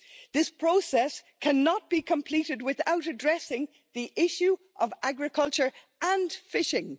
This process cannot be completed without addressing the issue of agriculture and fishing.